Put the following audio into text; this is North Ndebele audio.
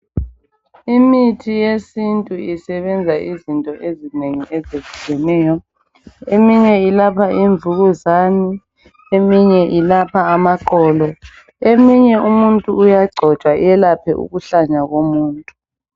Imithi yesintu isebenza izinto ezinengi ezitshiyeneyo eminye ilapha imvukuzane eminye ilapha amaqolo eminye umuntu uyagcotshwa elaphe ukuhlanya komuntu.